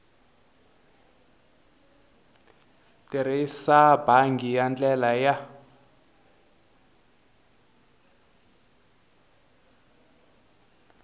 tirhisa bangi hi ndlela ya